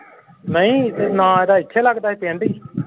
ਨਹੀਂ ਤੇ ਨਾਂ ਓਹਦਾ ਇਥੇ ਲਗਦਾ ਸੀ ਪਿੰਡ ਹੀ।